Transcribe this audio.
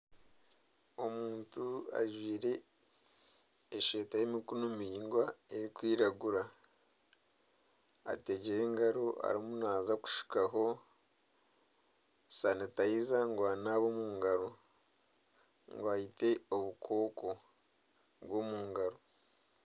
Omuntu ajwire eshweta y'emikono miringwa erikwiragura ategyire engaro arimu naaza kushukaho sanitayiza ngu anaabe omungaro ngu ayite obukooko bw'omungaro.